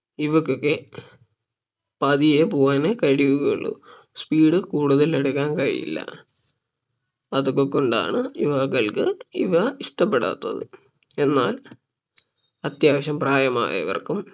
ഇവക്കൊക്കെ പതിയെ പോവാനെ കഴിയുകയുള്ളൂ speed കൂടുതൽ എടുക്കാൻ കഴിയില്ല അതൊക്കെ കൊണ്ടാണ് യുവാക്കൾക്ക് ഇവ ഇഷ്ടപ്പെടാത്തത് എന്നാൽ അത്യാവശ്യം പ്രായമായവർക്കും